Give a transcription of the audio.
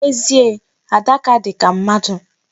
N'ezie, Adaka dị ka mmadụ.